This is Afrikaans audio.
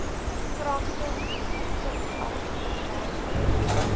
kragtens subartikel wysig